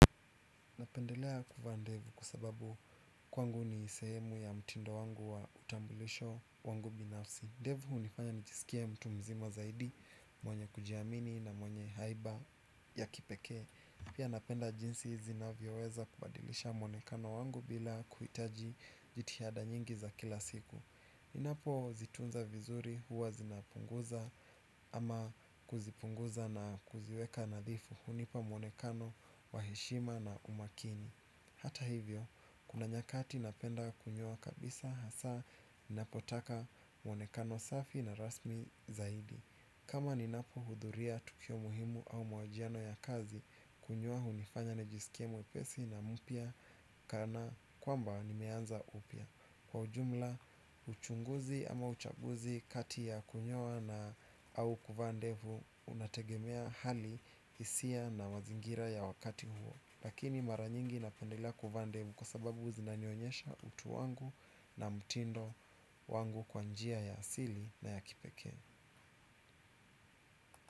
Napendelea kuvaa ndevu kwa sababu kwangu ni sehemu ya mtindo wangu wa utambulisho wangu binafsi. Ndevu unifanya nijisikie mtu mzima zaidi, mwenye kujiamini na mwenye haiba ya kipekee. Pia napenda jinsi zinavyoweza kubadilisha mwonekano wangu bila kuhitaji jitihada nyingi za kila siku. Ninapo zitunza vizuri huwa zinapunguza ama kuzipunguza na kuziweka nadhifu hunipa mwonekano, wa heshima na umakini. Hata hivyo, kuna nyakati napenda kunyoa kabisa hasa ninapotaka mwonekano safi na rasmi zaidi. Kama ninapo hudhuria tukio muhimu au mahojiano ya kazi kunyoa hunifanya nijisikie mwepesi na mpya kana kwamba nimeanza upya. Kwa ujumla, uchunguzi ama uchaguzi kati ya kunyoa na au kuvaa ndevu unategemea hali hisia na mazingira ya wakati huo. Lakini mara nyingi napendelea kuvaa ndevu kwa sababu zinanionyesha utu wangu na mtindo wangu kwa njia ya asili na ya kipekee.